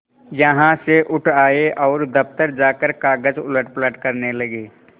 यहाँ से उठ आये और दफ्तर जाकर कागज उलटपलट करने लगे